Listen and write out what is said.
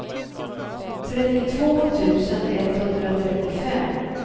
trettiotvå tusen etthundratrettiofem